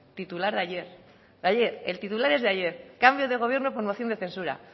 titular de ayer de ayer el titular es de ayer cambio de gobierno por moción de censura